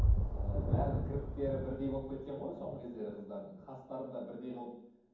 ы бәрінің кірпіктері бірдей болып кеткен ғой соңғы кездері қыздардың қастарын да бірдей қылып